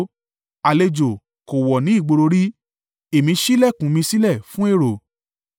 Àlejò kò wọ̀ ni ìgboro rí; èmí ṣí ìlẹ̀kùn mi sílẹ̀ fún èrò.